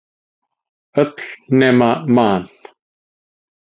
Öll nema Man.